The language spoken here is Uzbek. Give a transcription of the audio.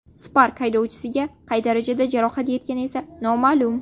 Spark haydovchisiga qay darajada jarohat yetgani esa noma’lum.